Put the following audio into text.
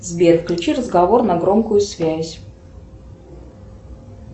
сбер включи разговор на громкую связь